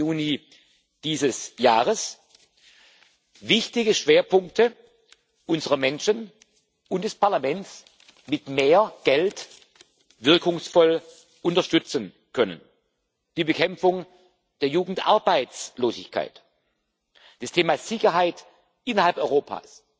30. Juni dieses Jahres wichtige Schwerpunkte unserer Menschen und des Parlaments mit mehr Geld wirkungsvoll unterstützen können die Bekämpfung der Jugendarbeitslosigkeit, das Thema Sicherheit innerhalb Europas,